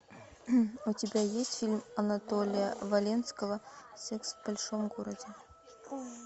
у тебя есть фильм анатолия валенского секс в большом городе